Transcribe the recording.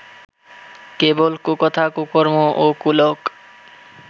কেবল কুকথা কুকর্ম ও কুলোক